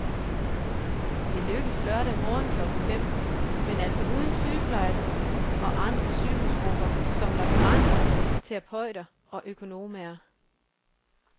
Det lykkedes lørdag morgen klokken fem, men altså uden sygeplejerskerne og andre sygehusgrupper, som laboranter, terapeuter og økonomaer.